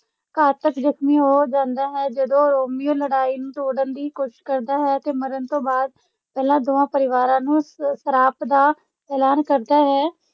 ਘਾਤਕ ਜ਼ਖਮੀ ਹੋ ਜਾਂਦਾ ਹੈ ਜਦੋਂ ਰੋਮੀਓ ਲੜਾਈ ਨੂੰ ਤੋੜਨ ਦੀ ਕੋਸ਼ਿਸ਼ ਕਰਦਾ ਹੈ ਅਤੇ ਮਰਨ ਤੋਂ ਬਾਅਦ ਪਹਿਲਾਂ ਦੋਵਾਂ ਪਰਿਵਾਰਾਂ ਨੂੰ ਸ ਸਰਾਪ ਦਾ ਐਲਾਨ ਕਰਦਾ ਹੈ।